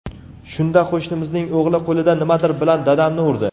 Shunda qo‘shnimizning o‘g‘li qo‘lida nimadir bilan dadamni urdi.